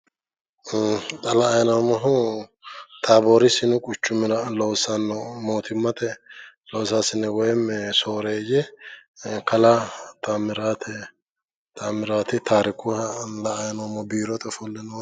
ee xa la'anni noommohu taaboori sinu quchumira loossanno mootimmate loosaasine woyimi sooreeyye kalaa taammirate taarikuha la'anni noommo biirote ofolle nooha .